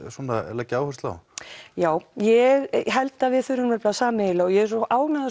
leggja áherslu á já ég held að við þurfum nefnilega sameiginlega og ég er svo ánægð